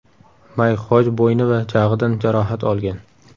Mayk Xoj bo‘yni va jag‘idan jarohat olgan.